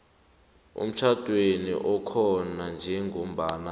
emtjhadweni okhona njengombana